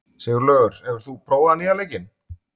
Sigurlaugur, hefur þú prófað nýja leikinn?